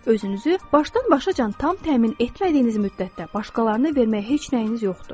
Özünüzü başdan-başa tam təmin etmədiyiniz müddətdə başqalarına verməyə heç nəyiniz yoxdur.